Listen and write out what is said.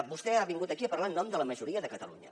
vostè ha vingut aquí a parlar en nom de la majoria de catalunya